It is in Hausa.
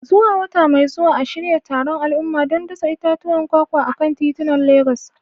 Zuwa wata mai zuwa, a shirya taron al'umma don dasa itatuwan kwakwa a kan titunan Legas.